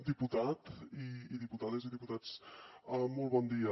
diputat i diputades i diputats molt bon dia